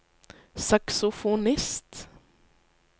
saksofonist